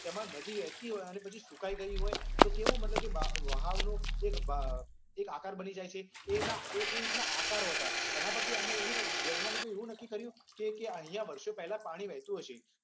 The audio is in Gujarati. જેમાં નદી વહેતી હોય અને પછી સુકાઈ ગઈ હોય તો પછી કેવુ વહાવણુ એક આકાર બની જાય છે. તે તે રીતના આકાર હતા. એના પરથી આમને વૈજ્ઞાનીકો એવુ નક્કી કર્યુ કે અહિંયા વર્ષો પહેલા પાણી વહેતુ હશે.